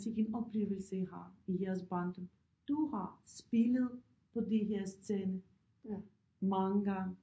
Sikke en oplevelse I har i jeres barndom du har spillet på de her scene mange gange